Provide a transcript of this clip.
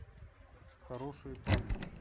хорошие парни